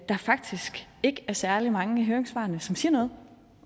faktisk ikke er særlig mange af høringssvarene som siger noget